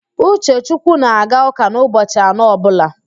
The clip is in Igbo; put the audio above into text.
Uchechukwu na-aga ụ́kà n'ụbochị anọ ọbụla